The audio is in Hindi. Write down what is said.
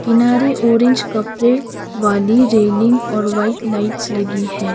कीनारे ऑरेंज कपड़े वाली रेलिंग और व्हाइट लाइट्स लगी है।